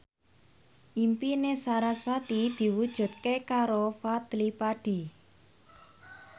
impine sarasvati diwujudke karo Fadly Padi